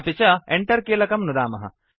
अपि च Enter कीलकं नुदामः